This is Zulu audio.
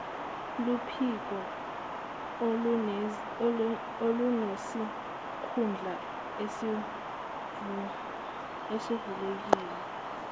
luphiko olunesikhundla esivulekile